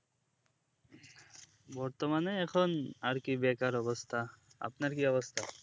বর্তমানে এখন আরকি বেকার অবস্থা আপনার কি অবস্থা